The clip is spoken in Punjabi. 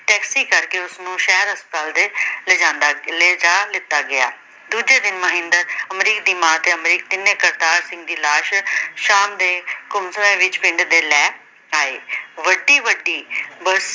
ਟੈਕਸੀ ਕਰਕੇ ਉਸ ਨੂੰ ਸ਼ਹਿਰ ਹਸਪਤਾਲ ਦੇ ਲਿਜਾਦਾਂ ਲੇ ਜਾ ਲਿਤਾ ਗਿਆ। ਦੂਜੇ ਦਿਨ ਮਹਿੰਦਰ ਅਮਰੀਕ ਤੇ ਅਮਰੀਕ ਦੀ ਮਾਂ ਤਿੰਨੇ ਕਰਤਾਰ ਸਿੰਘ ਦੀ ਲਾਸ਼ ਸ਼ਾਮ ਦੇ ਪਿੰਡ ਵਿੱਚ ਲੈ ਆਏ। ਵੱਡੀ-ਵੱਡੀ